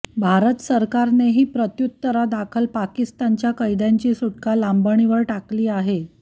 भारत सरकारनेही प्रत्युत्तरादाखल पाकिस्तानच्या कैद्यांची सुटका लांबणीवर टाकली आहे